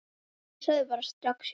Ég sagði bara strax já.